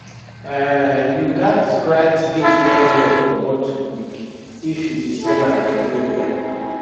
um you gats write date well well for bottle milk if you dey sell am for area